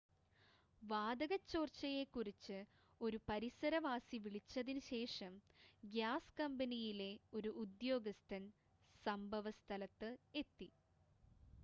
വാതക ചോർച്ചയെ കുറിച്ച് ഒരു പരിസരവാസി വിളിച്ചതിന് ശേഷം ഗ്യാസ് കമ്പനിയിലെ ഒരു ഉദ്യോഗസ്ഥൻ സംഭവസ്ഥലത്ത് എത്തി